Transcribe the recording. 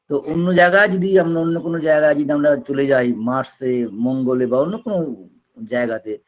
তো অন্য জায়গায় যদি আমরা অন্য কোনো জায়গায় যদি আমরা চলে যাই mars -এ মঙ্গলে বা অন্য কোনো জায়গাতে